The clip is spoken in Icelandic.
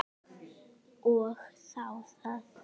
Og þá það.